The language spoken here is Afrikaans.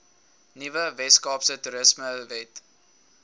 nuwe weskaapse toerismewet